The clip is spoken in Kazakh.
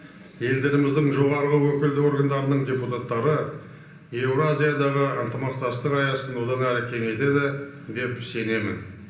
елдеріміздің жоғарғы өкілді органдарының депутаттары еуразиядағы ынтымақтастық аясын одан әрі кеңейтеді деп сенемін